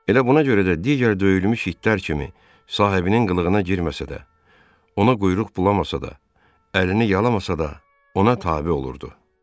Elə buna görə də digər döyülmüş itlər kimi sahibinin qılığına girməsə də, ona quyruq bulamasa da, əlini yalamasa da, ona tabe olurdu.